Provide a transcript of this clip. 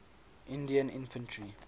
indian infantry